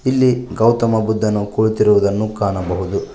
ಇಲ್ಲಿ ಗೌತಮ ಬುದ್ಧನು ಕುಳಿತಿರುವುದನ್ನು ಕಾಣಬಹುದು.